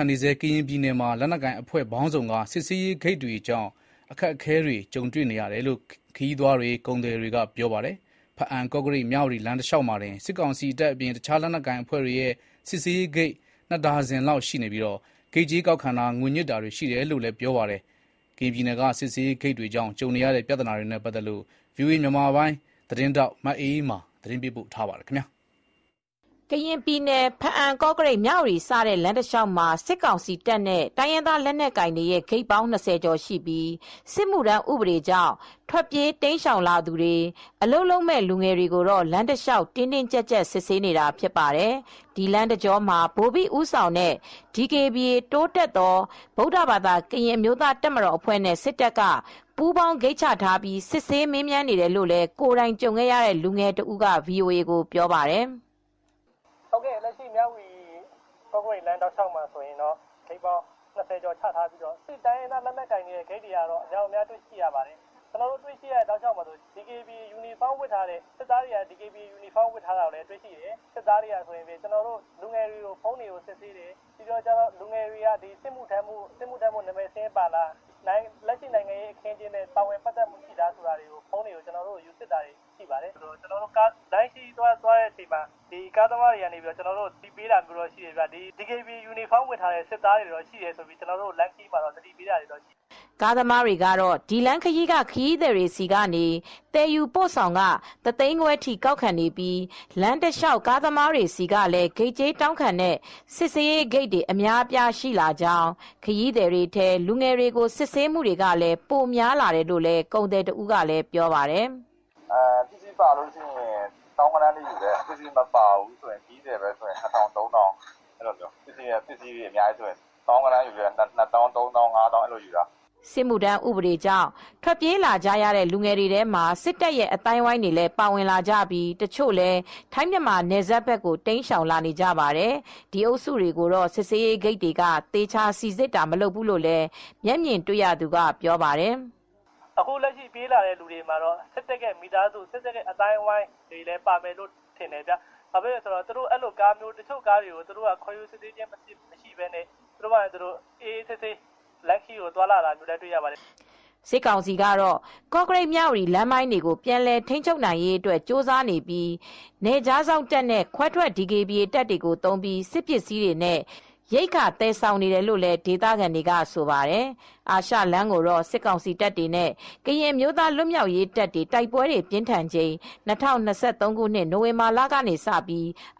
န်နေဆဲ ကရင်ပြည်နယ်မှာ လက်နက်ကိုင်အဖွဲ့ပေါင်းစုံက စစ်ဆေးရေးဂိတ်တွေကြောင့် အခက်အခဲတွေ ကြုံနေရတယ်လို့ ခရီးသွားတွေ၊ ကုန်သည်တွေကပြောပါတယ်။ ဖားအံ၊ ကော့ကရိတ်၊ မြဝတီ လမ်းတလျောက်မှာတင် စစ်ကောင်စီတပ်အပြင် တခြားလက်နက်ကိုင် အဖွဲ့တွေရဲ့ စစ်ဆေးရေးဂိတ် ၂ ဒါဇင်လောက် ရှိနေပြီးဂိတ်ကြေးကောက်ခံတာ၊ ငွေညှစ်တာတွေ ရှိတယ်လို့လည်း ပြောပါတယ်။ ကရင်ပြည်နယ်က စစ်ဆေးရေးဂိတ်တွေကြောင့် ကြုံနေရတဲ့ ပြဿနာတွေနဲ့ ပတ်သက်လို့ ဗွီအိုအေ မြန်မာပိုင်း သတင်းထောက် မအေးအေးမာ သတင်းပေးပို့ ထားပါတယ်။ ကရင်ပြည်နယ် ဖားအံ ကော့ကရိတ် မြဝတီစတဲ့လမ်းတလျောက်မှာ စစ်ကောင်စီတပ်နဲ့တိုင်းရင် ဂိတ်ပေါင်း ၂၀ကျော်ရှိပြီး စစ်မူ့ထမ်းဥပဒေကြောင့် ထွက်ပြေးတိမ်းရှောင်လာသူတွေအလုပ်လုပ်မယ့်လူငယ်တွေကို လမ်းတလျှောက်တင်းတင်းကြပ်ကြပ် စစ်ဆေးနေတာဖြစ်ပါတယ်။ ဒီလမ်းတကြောမှာ ဗိုလ်ဘိဦးဆောင်တဲ့ DKBA (တိုးတက်သော ဗုဒ္ဓဘာသာ ကရင့်အမျိုးသားတပ်မတော်) အဖွဲ့နဲ့ စစ်တပ်က ပူးပေါင်း ဂိတ်ချထားပြီး စစ်ဆေးမေးမြန်းနေတယ်လို့ ကိုယ်တိုင်ကြုံခဲ့ရတဲ့လူငယ်တဦးက VOA ကိုပြောပါတယ်။ "ကော့ကရိတ်မြဝတီ ကော့ကရိတ်လမ်းတလျှောက်မှာတော့ ဂိတ်ပေါင်း ၂၀ကျော်ချထားပြီးတော့ တိုင်းရင်းသား လက်နက်ကိုင်တွေရဲ့ဂိတ်တွေကတော့များတယ် ၊ ကျနော်တို့တွေရတဲ့ဂိတ်တွေမှာ စစ်သားတွေက DKBA ယူနီဖောင်းဝတ်ထားပြီး စစ်တယ်၊ စစ်သားတွေ တွေက ကျနော်တို့လူငယ်တွေရဲ့ဖုန်းတွေကိုစစ်ဆေးတယ်၊ ပြီးတော့လူငယ်တွေက စစ်မူ့ထမ်းဖို့နံမည်စာရင်းပါသလားစစ်တယ်၊ လက်ရှိနိုင်ငံရေးအခင်းအကျင်းနဲ့ပါဝင်ပတ်သက်သလားဆိုတာစစ်ပါတယ်၊ကျနော်တို့လမ်းခရီးသွားတဲ့အချိန်မှာကားသမားတွေက သတိပေးတာမျိုးတော့ရှိပါတယ် ၊လမ်းခရီးမှာစစ်သားတွေက DKBA ယူနီဖောင်းဝတ်ထားတဲ့စစ်သားတွေရှိတယ်ဆိုပြီးသတိပေးတာရှိတယ်။" ကားသမားတွေကတော့ ဒီလမ်းခရီးက ခရီးသည်တွေဆီက သယ်ယူပို့ဆောင်ခ တသိန်းခွဲထိကောက်ခံနေပြီး လမ်းတလျောက် ကားသမားတွေဆီကလည်း ဂိတ်ကြေးတောင်းခံတဲ့ စစ်ဆေးရေးဂိတ်တွေအများအပြားရှိလာကြောင်း၊ ခရီးသည်တွေထဲ လူငယ်တွေကို စစ်ဆေးမူတွေလည်း ပိုများလာတယ်လို့ လည်း ကုန်သည်တဦးကလည်းပြောပါတယ်။ "ပစ္စည်းပါရင် သောင်းဂဏန်းယူတယ် ပစ္စည်းမပါရင်လူတွေချည်းပဲဆိုရင် တဂိတ်မှာ ၂ထောင် ၃ထောင်လောက်ယူတယ် ။ ပစ္စည်းပါရင်တော့သောင်းဂဏန်းထိယူတယ် ၂သောင်း ၃သောင်း ၅သောင်းထိတောင်းပါတယ်။" စစ်မှုထမ်းဥပဒေကြောင့် ထွက်ပြေးကြရတဲ့လူငယ်တွေထဲမှာ စစ်တပ်ရဲ့အသိုင်းအဝိုင်းတွေလည်းပါဝင်ကြပြီး တချို့လည်း ထိုင်း မြန်မာနယ်စပ်ဘက်ကိုတိမ်းရှောင်လာနေကြပါတယ်။ ဒီအုပ်စုတွေကိုတော့ စစ်ဆေးရေးဂိတ်တွေက သေချာစီစစ်တာမလုပ်ဘူးလို့လည်း မျက်မြင်တွေ့ရသူကပြောပါတယ်။ "အခုလက်ရှိပြေးလာတဲ့သူတွေထဲမှာတော့စစ်တပ်နဲ့ပတ်သက်တဲ့ သူတွေလည်းပါမယ်လို့ယူဆပါတယ် တချို့ကားတွေကိုကျတော့ ဘာမှ အစစ်ဆေးမရှိတာတွေလည်းရှိတယ် ခေါ်ယူစစ်ဆေးတာမရှိဘူး တချို့ကားတွေကျတော့ အေးအေးဆေးဆေးသွားလာတာလည်းရှိတယ်။" စစ်ကောင်စီကတော့ ကော့ကရိတ်မြဝတီလမ်းပိုင်းတွေကိုပြန်လည်ထိန်းချုပ်နိုင်ရေးအတွက်ကြိုးစားနေပြီး နယ်ခြားစောင့်တပ်နဲ့ခွဲထွက် DKBA တပ်တွေကို သုံးပြီး စစ်ပစ္စည်းတွေနဲ့ ရိက္ခာသယ်ဆောင်နေတယ်လို့ ဒေသခံတွေကဆိုပါတယ်။ အာရှလမ်းကိုတော့ စစ်ကောင်စီတပ်တွေနဲ့ ကရင်အမျိုးသားလွတ်မြောက်ရေးတပ်တွေ တိုက်ပွဲတွေပြင်းထန်ချိန် ၂၀၂၃ခုနှစ် နိုဝင်ဘာလကနေ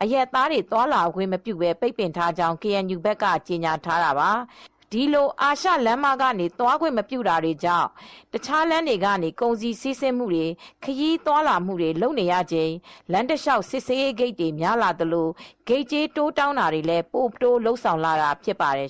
အရပ်သားတွေ သွားလာခွင့်မပြု ပိတ်ပင်ထားကြောင်း KNU ဘက်က ကြေညာထားတာပါ။ ဒီလို အာရှလမ်းမကနေ သွားခွင့်မပြုထားတာကြောင့် တခြားလမ်းတွေကနေ ကုန်စည်စီးဆင်းမူတွေ ခရီးသွားလာမူ့တွေလုပ်နေရချိန် လမ်းတလျောက် စစ်ဆေးရေးဂိတ်တွေ များလာသလို ဂိတ်ကြေးတိုးတောင်းတာတွေလည်း ပိုတိုးလုပ်ဆောင်လာတာဖြစ်ပါတယ်